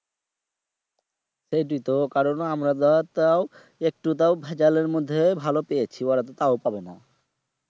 সেইটোই তো কারণ আমরা ধর তাও একটু তাও ভ্যাজাল মধ্যে ভালো পেয়েছি ওরা তো তাও পাবে না